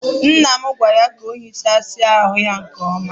Nna gwara ya hichasia ahu ya nke oma.